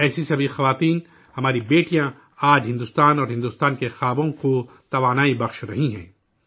ایسی تمام خواتین، ہماری بیٹیاں، آج بھارت اور بھارت کے خوابوں کو توانائی بخش رہی ہیں